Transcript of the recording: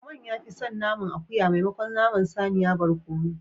Lukman ya fi son naman akuya maimakon naman saniya barkono